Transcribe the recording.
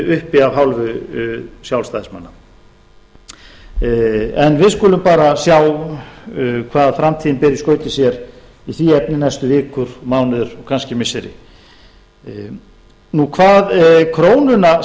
uppi af hálfu sjálfstæðismanna við skulum bara sjá hvað framtíðin ber í skauti sér í því efni næstu vikur mánuði og kannski missiri hvað krónuna